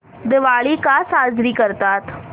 दिवाळी का साजरी करतात